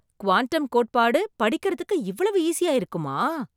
Quantum கோட்பாடு படிக்கிறதுக்கு இவ்வளவு ஈஸியா இருக்குமா!